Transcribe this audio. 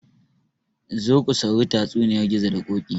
Zo ku sauri tatsuniyar gizo da ƙoƙi